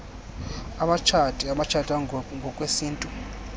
abatshati abatshata ngokwesintu